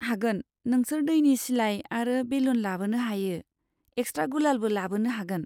हागोन, नोंसोर दैनि सिलाइ आरो बेलुन लाबोनो हायो, एक्सट्रा गुलालबो लाबोनो हागोन।